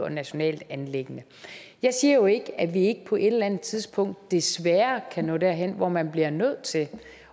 et nationalt anliggende jeg siger jo ikke at vi ikke på et eller andet tidspunkt desværre kan nå derhen hvor man bliver nødt til